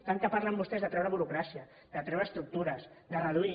tant que parlen vostès de treure burocràcia de treure estructures de reduir